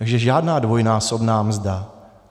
Takže žádná dvojnásobná mzda.